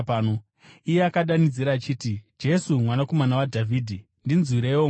Iye akadanidzira achiti, “Jesu, Mwanakomana waDhavhidhi, ndinzwireiwo ngoni!”